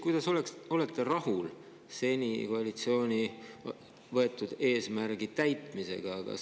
Kuidas olete rahul koalitsiooni seni võetud eesmärgi täitmisega?